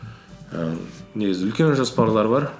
ііі негізі үлкен жоспарлар бар